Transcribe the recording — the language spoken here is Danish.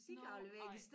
Nåh ej